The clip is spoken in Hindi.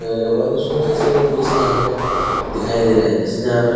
आगे बहुत ही सुन्दर सा इसका भी दृश्य यहाँ पर दिखाई दे रहा है देख सकते हैं यहाँ पर --